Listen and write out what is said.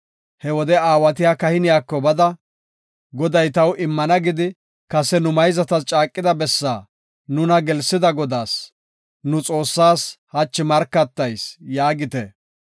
He wode aawatiya kahiniyako bada, “Goday taw immana gidi kase nu mayzatas caaqida bessaa nuna gelsida Godaas, nu Xoossaas, hachi markatayis” yaagite.